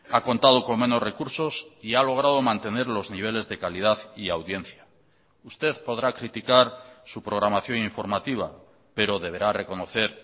ha contado con menos recursos y ha logrado mantener los niveles de calidad y audiencia usted podrá criticar su programación informativa pero deberá reconocer